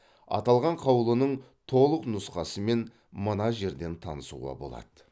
аталған қаулының толық нұсқасымен мына жерден танысуға болады